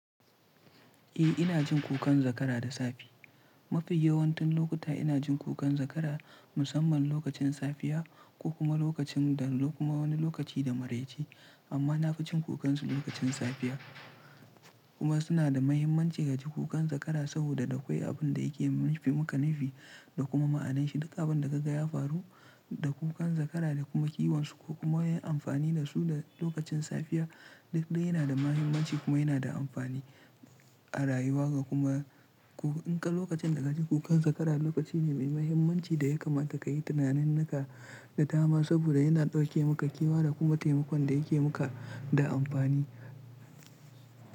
Eh ina jin kukan zakara da safe. Mafi yawantan lokuta ina jin kukan zakara musamman lokacin safiya, ko kuma lokacin da, kuma wani lokaci da maraice. Amma na fi jin kukansu lokacin safiya kuma suna da mahimmanci ya ji kukan zakara saboda a akwai abin da yake yi mana nufi da kuma ma'anashi. Duka abin da kaga ya faru da kukan zakara da kuma kiwonsu ko kuma yin amfani da su da lokacin safiya, duk dai yana da mahimmanci kuma yana da amfani a rayuwa ga kuma in ka lokacin da ka ji kukan zakara lokaci ne mai mahimmanci da ya kamata ka yi tunanin naka da dama saboda yana ɗauke maka kiwiya da kuma taimakon da yake muka da amfani.